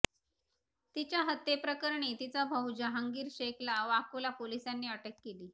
तिच्या हत्येप्रकरणी तिचा भाऊ जहांगीर शेखला वाकोला पोलिसांनी अटक केली